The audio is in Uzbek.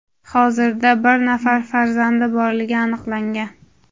hozirda bir nafar farzandi borligi aniqlangan.